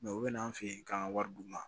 u bɛn'an fɛ yen k'an ka wari d'u ma